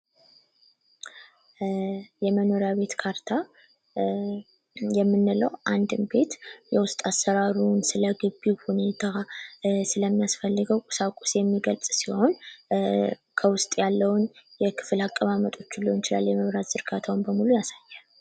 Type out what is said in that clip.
የመኖሪያ ቤት ካርታ የምንለው አንድን ቤት የወጥ አሰራንሩ ስለ ግቢው ሁኔታ ስለሚያስፈልገው ቁሳቁስ የሚገልጽ ሲሆን ከውስጥ ያለውን የክፍል አቀማመጡ ሊሆን የመብራት ዝርጋታ በሙሉ ያሳያል።